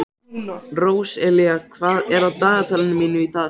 Róselía, hvað er á dagatalinu mínu í dag?